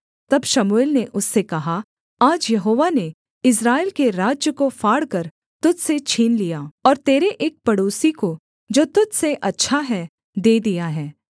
तब शमूएल ने उससे कहा आज यहोवा ने इस्राएल के राज्य को फाड़कर तुझ से छीन लिया और तेरे एक पड़ोसी को जो तुझ से अच्छा है दे दिया है